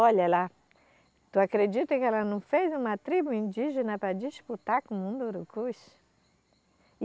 Olha lá, tu acredita que ela não fez uma tribo indígena para disputar com o mundo urucuxi?